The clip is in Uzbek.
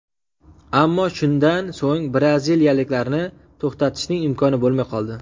Ammo shundan so‘ng braziliyaliklarni to‘xtatishning imkoni bo‘lmay qoldi.